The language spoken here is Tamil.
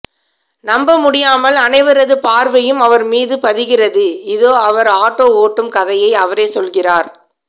நம்பமுடியாமல் அனைவரது பார்வையும் அவர் மீது பதிகிறது இதோ அவர் ஆட்டோ ஒட்டும் கதையை அவரே சொல்கிறார்